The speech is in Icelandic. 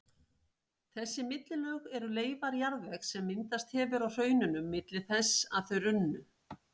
Þessi millilög eru leifar jarðvegs sem myndast hefur á hraununum milli þess að þau runnu.